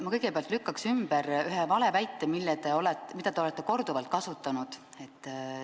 Ma kõigepealt lükkan ümber ühe valeväite, mida te olete korduvalt kasutanud.